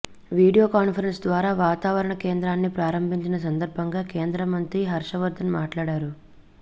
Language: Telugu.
వీడియో కాన్ఫరెన్స్ ద్వారా వాతావరణ కేంద్రాన్ని ప్రారంభించిన సందర్భంగా కేంద్రమంత్రి హర్షవర్ధన్ మాట్లాడారు